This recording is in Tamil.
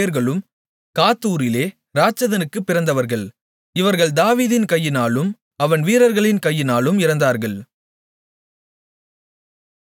இந்த நான்கு பேர்களும் காத்தூரிலே இராட்சதனுக்குப் பிறந்தவர்கள் இவர்கள் தாவீதின் கையினாலும் அவன் வீரர்களின் கையினாலும் இறந்தார்கள்